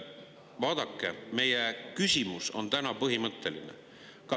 Vaadake, meie küsimus on täna põhimõtteline.